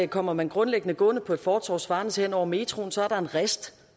kommer man grundlæggende gående på et fortov svarende til hen over metroen så er der en rist